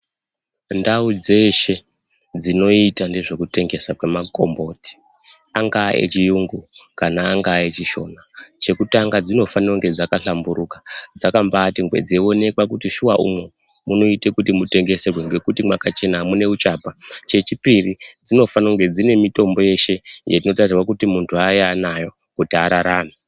Mu ndau dzeshe dzino ita nezveku tengesa kwe makomboti anga echiyungu kana angaa echishona chekutanga dzino fanire kunge dzaka hlamburuka dzaka mbaite ngwee dzei onekwa kuti shuwa umu munoita kuti mu tengeserwe ngekuti mwaka chena amuna uchapa che chipiri dzino fane kunge dzine mitombo yeshe iyo ino tarisirwa kuti muntu ange anayo kuti ararame.